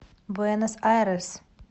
буэнос айрес